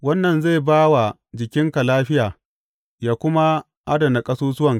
Wannan zai ba wa jikinka lafiya yă kuma adana ƙasusuwanka.